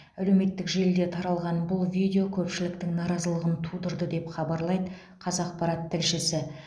әлеуметтік желіде таралған бұл видео көпшіліктің наразылығын тудырды деп хабарлайды қазақпарат тілшісі